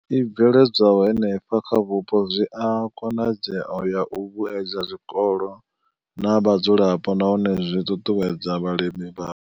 I bveledzwaho henefho vhupo zwi na khonadzeo ya u vhuedza zwikolo na vhadzulapo nahone zwi ṱuṱuwedza vhalimi.